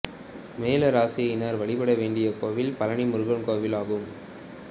மேழ ராசியினர் வழிபட வேண்டிய கோவில் பழனி முருகன் கோவில் ஆகும்